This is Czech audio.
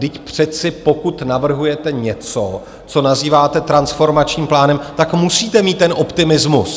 Vždyť přece pokud navrhujete něco, co nazýváte transformačním plánem, tak musíte mít ten optimismus.